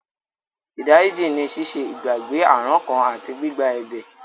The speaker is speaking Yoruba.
Ìdáríjì ní ṣíṣe ìgbàgbé àrankàn àti gbígba ẹ̀bẹ̀.